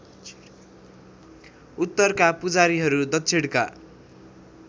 उत्तरका पुजारीहरू दक्षिणका